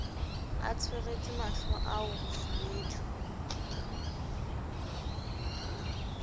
a tsweretse mahlo ao bofubedu